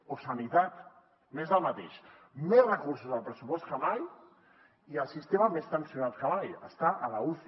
o sanitat més del mateix més recursos al pressupost que mai i el sistema més tensionat que mai està a l’uci